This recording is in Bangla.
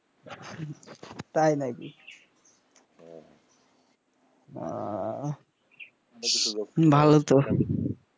তাই নাকি